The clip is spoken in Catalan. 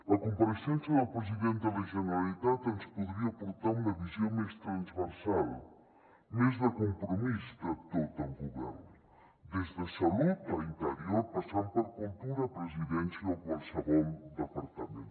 la compareixença del president de la generalitat ens podria aportar una visió més transversal més de compromís de tot el govern des de salut a interior passant per cultura presidència o qualsevol departament